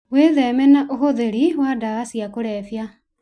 Wĩtheme na ũhũthĩri wa ndawa cia kũrebia.